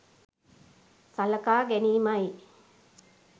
සලකා ගැනීමයි.